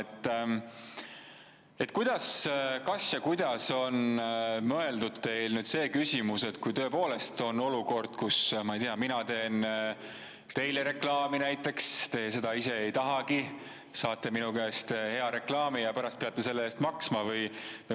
Kas ja kuidas olete mõelnud selle küsimuse, et kui tõepoolest on olukord, kus, ma ei tea, mina teen näiteks teile reklaami, te seda ise ei tahagi, aga saate minu käest hea reklaami, ent pärast peate selle eest maksma?